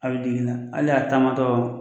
A bɛ jiginna hali y'a taamatɔ